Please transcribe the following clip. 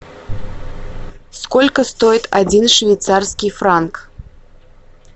сколько стоит один швейцарский франк